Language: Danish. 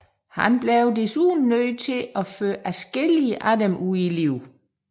Han blev desuden nødt til at føre adskillige af dem ud i livet